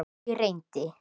Því reyndi